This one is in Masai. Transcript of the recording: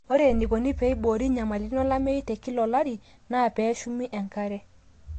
ore eneikoni pee eiboori enyamalitin olameyu te kila olari naa pee eshumi enkare